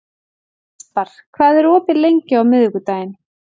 Aspar, hvað er opið lengi á miðvikudaginn?